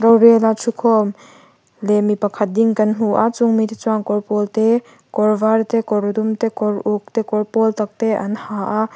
vêla ṭhu khâwm leh mi pakhat ding kan hmu a chung mite chuan kawr pâwl te kawr vâr te kawr dum te kawr uk te kawr pâwl takte an ha a--